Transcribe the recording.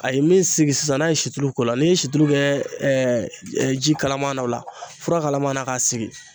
A ye min sigi sisan n'a ye situlu k'o la n'i ye situru kɛ ɛɛ ɛ ji kalaman na o la fura kalaman na k'a sigi